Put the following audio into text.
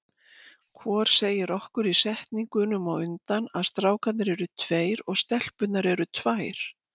Hvor segir okkur í setningunum á undan að strákarnir eru tveir og stelpurnar eru tvær.